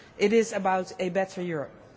It is about a better Europe.